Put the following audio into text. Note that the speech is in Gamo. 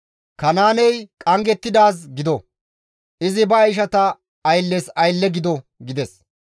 «Kanaaney qanggettidaaz gido! Izi ba ishata aylletas aylle gido!» gides.